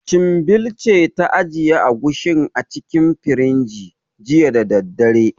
Chinbil ce ta ajiye Agushin a cikin firinji, jiya da daddare.